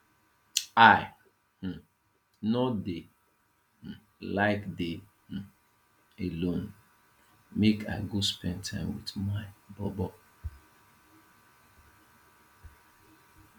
i um no dey um like dey um alone make i go spend time wit my bobo